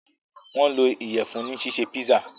wón lò Iyẹ̀fun ní ṣiṣe pizza.